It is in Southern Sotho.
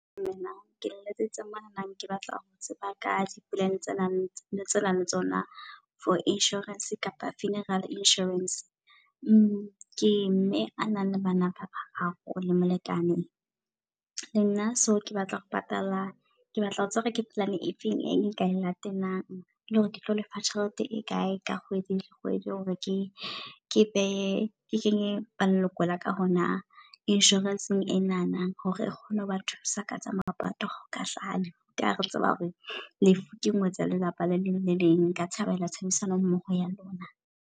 Dumelang ke letsetsa monana ke batla ho tseba ka di plan tsenang tsenang le tsona for insurance kapa funeral insurance. Ke mme a nang le bana bararo le molekane le nna. So ke batla ho patala ke batla ho tseba hore ke plan e feng e nka e latelang. Le hore ketlo lefa tjhelete e kae ka kgwedi le kgwedi hore ke ke behe ke kenye ba leloko laka hona insurance-eng enana. Hore e kgone ho bathusa ka tsa mapato ka ka ha re tseba hore lefu ke ngwetsi ya lelapa le leng le leng. Nka thabela tshebedisano mmoho ya lona.